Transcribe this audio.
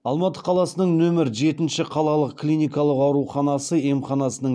алматы қаласының нөмір жетінші қалалық клиникалық ауруханасы емханасының